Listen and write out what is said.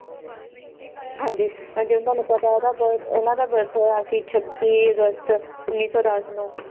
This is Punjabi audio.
ਹਾਂਜੀ ਜਿਵੇਂ ਤੁਹਾਨੂੰ ਪਤਾ ਇਹ ਦਾ ਬ~ ਇਹਨਾਂ ਦਾ birth ਹੋਇਆ ਸੀ ਛੱਬੀ ਅਗਸਤ ਉੱਨੀ ਸੌ ਦਸ ਨੂੰ